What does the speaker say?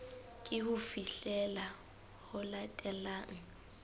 ke ho fihlela ho latelang